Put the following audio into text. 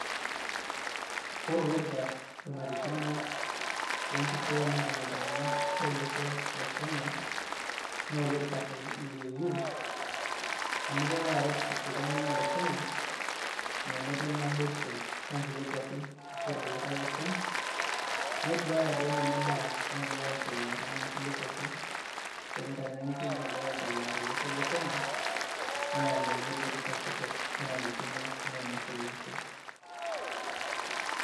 Ore olorika onarikino le nkitoo netum iltung`anak lo losho le Kenya. Naa olorika le AU amu kelo aret iltung`anak le Kenya menoto naboisho o nkulie kuapi ashu o orkulikae oshon. Neduaya doi ninye imbaa naagira aendelea tenena kulie kuapi, tenindanyaanyukie naagira aendelea to losho Kenya, naa ninye olorika kitok onarikino nenyorr ele osho.